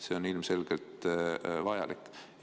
See on ilmselgelt vajalik.